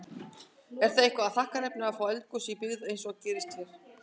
Er það eitthvað þakkarefni að fá eldgos í byggð, eins og gerðist hér?